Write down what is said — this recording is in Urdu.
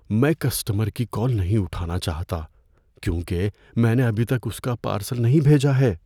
میں کسٹمر کی کال نہیں اٹھانا چاہتا کیونکہ میں نے ابھی تک اس کا پارسل نہیں بھیجا ہے۔